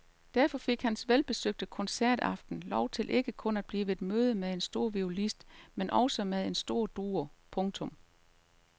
Derfor fik hans velbesøgte koncertaften lov til ikke kun at blive et møde med en stor violinist men med også en stor duo. punktum